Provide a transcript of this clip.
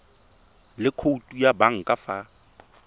le khoutu ya banka fa